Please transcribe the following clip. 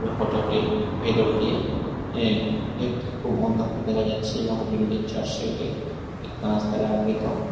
হোটেলটি ভেতর দিয়ে এঁ একটু খুব অন্ধকার দেখা যাচ্ছে এবং হোটেলটির চার সাইডে কাঁচ দ্বারা আবৃত।